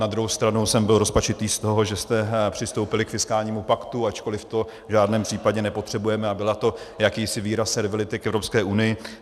Na druhou stranu jsem byl rozpačitý z toho, že jste přistoupili k fiskálnímu paktu, ačkoliv to v žádném případě nepotřebujeme a byl to jakýsi výraz servility k Evropské unii.